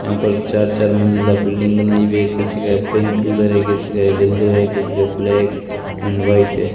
यहां पर चार-चार मंजिला बिल्डिंग बनाई हुई है किसी का पिंक बर है किसी का येल्लो है किसी के ब्लैक एंड व्हाइट है।